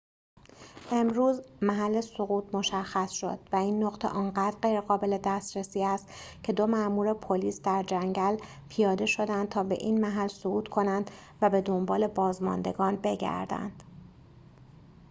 امروز محل سقوط مشخص شد و این نقطه آنقدر غیرقابل دسترسی است که دو مامور پلیس در جنگل پیاده شدند تا به این محل صعود کنند و به دنبال بازماندگان بگردند